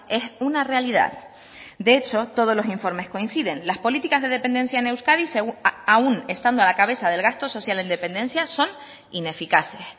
es una realidad de hecho todos los informes coinciden las políticas de dependencia en euskadi aun estando a la cabeza del gasto social en dependencia son ineficaces